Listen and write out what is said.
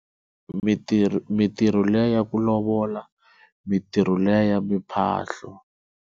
Mintirho, mintirho liya ya ku lovola mintirho liya ya miphahlo.